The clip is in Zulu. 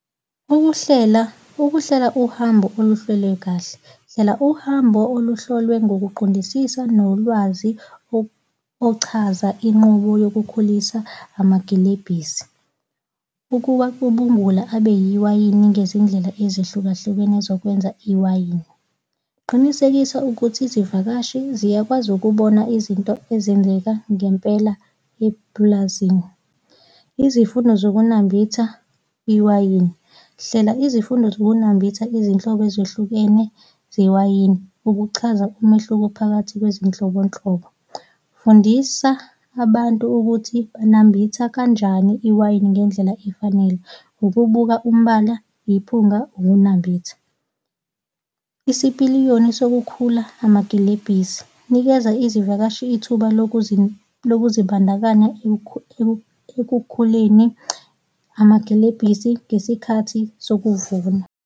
Ukuhlela. ukuhlela uhambo oluhlelwe kahle. Hlela uhambo oluhlolwe ngokuqondisisa nolwazi ochaza inqubo yokukhulisa amagilebhisi ukubacubungula abe iwayini ngezindlela ezehlukahlukene zokwenza iwayini. Qinisekisa ukuthi izivakashi ziyakwazi ukubona izinto ezenzeka ngempela epulazini. Izifundo zokunambitha iwayini. Hlela izifundo zokunambitha izinhlobo ezehlukene zewayini, ukuchaza umehluko phakathi kwezinhlobonhlobo. Fundisa abantu ukuthi banambitha kanjani iwayini ngendlela efanele, ukubuka umbala, iphunga, ukunambitha. Isipiliyoni sokukhula amagilebhisi. Nikeza izivakashi ithuba lokuzibandakanya ekukhuleni amagilebhisi ngesikhathi sokuvuna.